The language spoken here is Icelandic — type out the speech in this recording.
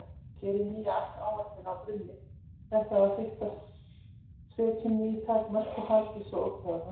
Gerið nýja áætlun á grunni þeirrar fyrstu, setjið ný tímamörk og haldið svo ótrauð áfram.